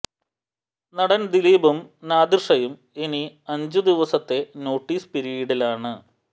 നടൻ ദിലീപും നാദിർഷയും ഇനി അഞ്ചു ദിവസത്തെ നോട്ടീസ് പിരീഡിലാണ്